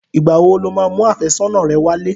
Ìgbà wo lo máa mú àfẹ́sọ́nà rẹ wálé?